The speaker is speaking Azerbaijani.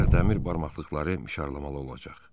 Ancaq dəmir barmaqlıqları mişarlamalı olacaq.